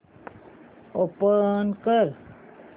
open कर